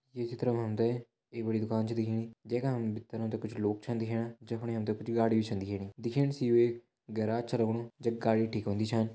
ये चित्र मा हम त एक बड़ी दुकान छ दिखेणी जैकाम भीतर हम त कुछ छ दिखेणा जक फणि हम त कुछ गाड़ी भी छन दिखेणी दिखेण से यू एक गेराज छ दिखेणु जख गाड़ी ठीक होंदी छन।